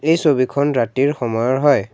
এই ছবিখন ৰাতিৰ সময়ৰ হয়।